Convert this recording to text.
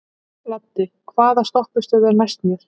Laddi, hvaða stoppistöð er næst mér?